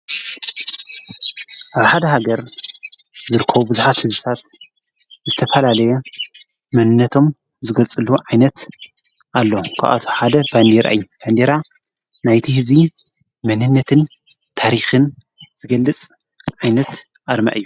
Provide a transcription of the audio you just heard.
ኣብ ሃደ ሃገር ዘርከ ብዙኃት ስዝሳት ዝተፋላለየ መንነቶም ዘገጽሉ ዓይነት ኣሎ ክኣት ሓደ ባኒር ኣይ ፈንዲራ ናይቲ ሕዚይ መንነትን ታሪኽን ዝገልጽ ዓይነት ኣርማ እዩ።